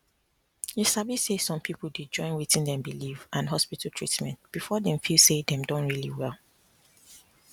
you sabi say some people dey join wetin dey believe and hospital treatment before dem feel say dem don really well